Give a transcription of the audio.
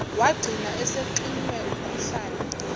wagcina esexinwe umkhuhlane